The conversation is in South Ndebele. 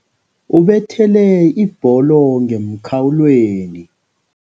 Ubethele ibholo ngemkhawulweni.